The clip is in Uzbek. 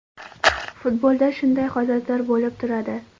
Futbolda shunday holatlar bo‘lib turadi.